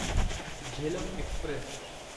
Jhelum Express